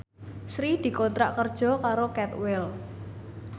Sri dikontrak kerja karo Cadwell